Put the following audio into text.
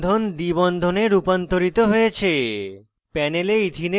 একক bond দ্বি বন্ধনে রূপান্তরিত হয়েছে